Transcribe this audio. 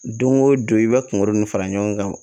Don o don i bɛ kungolo nin fara ɲɔgɔn kan